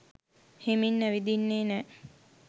හෙමින් ඇවිදින්නේ නෑ.